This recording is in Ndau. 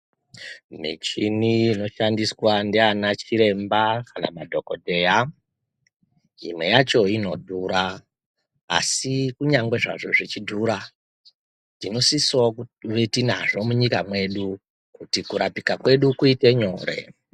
Michini inoshandiswa ndiana chiremba kana madhokodheya, imwe yacho inodhura, Asi kunyangwe zvazvo zvichidhura tinosisawo kuve tinazvo munyikwa mwedu kuti kurapika kwedu kuite nyore.